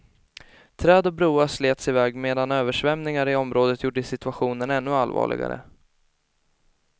Träd och broar slets iväg medan översvämningar i området gjorde situationen ännu allvarligare.